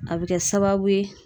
A be kɛ sababu ye